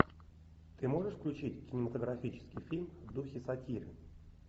ты можешь включить кинематографический фильм в духе сатиры